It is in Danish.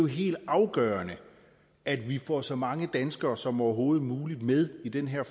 helt afgørende at vi får så mange danskere som overhovedet muligt med i den her